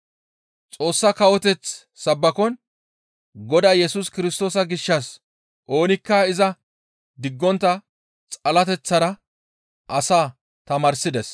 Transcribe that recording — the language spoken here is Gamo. Xoossa kawoteth sabbakon Godaa Yesus Kirstoosa gishshas oonikka iza diggontta xalateththara asaa tamaarsides.